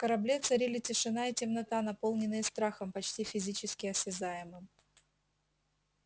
корабле царили тишина и темнота наполненные страхом почти физически осязаемым